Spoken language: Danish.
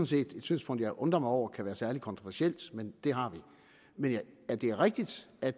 set et synspunkt jeg undrer mig over kan være særlig kontroversielt men det har vi men det er rigtigt at